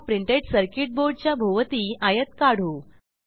ह्या printed circuit Boardच्या भोवती आयत काढू